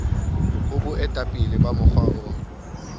ho boetapele ba mokga o